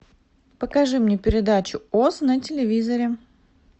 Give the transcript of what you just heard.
покажи мне передачу оз на телевизоре